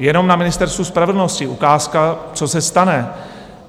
Jenom na Ministerstvu spravedlnosti - ukázka, co se stane.